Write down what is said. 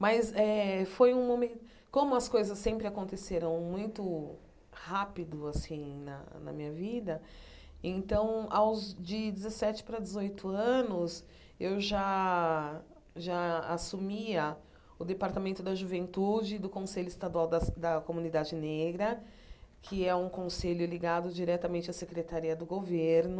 Mas eh, foi um momen como as coisas sempre aconteceram muito rápido assim na na minha vida, então aos de dezessete para dezoito anos eu já já assumia o Departamento da Juventude do Conselho Estadual das da Comunidade Negra, que é um conselho ligado diretamente à Secretaria do Governo.